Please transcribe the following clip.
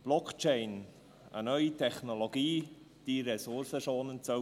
Blockchain – eine neue Technologie, die ressourcenschonend sein soll.